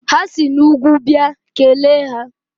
Ha si n'úgwú bịa, kelee ha!